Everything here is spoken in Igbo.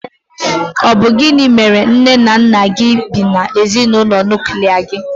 Ọ bụ gịnị mèrè na nné nna gị bị na ezinaụlọ nuklia gi?